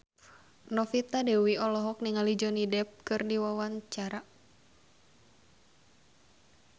Novita Dewi olohok ningali Johnny Depp keur diwawancara